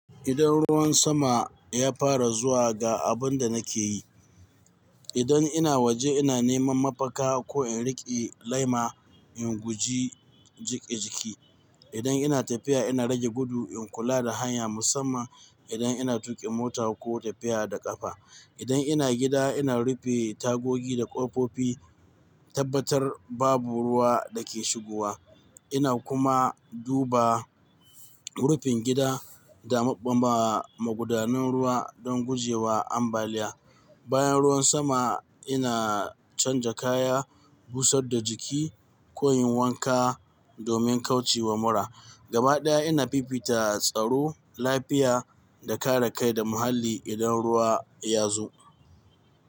Idan ruwan sama ya fara zuwa ga abin da nake yi, idan ina waje ina neman mafaka ko in riƙe laima in guji jike jiki. Idan ina tafiya ina rage gudu in kula da hanya musamman idan ina tuƙin mota ko tafiya da ƙafa. Idan ina gida ina rufe tagogi da ƙofofi tabbatar babu ruwa dake shigowa. Ina kuma duba rufin gida da ma ɓamba magudanun ruwa don gujewa ambaliya. Bayan ruwan sama ina canja kaya, busar da jiki ko yin wanka domin kauce wa mura. Gaba ɗaya ina fifita tsaro, lafiya da kare kai da muhalli idan ruwa ya zo.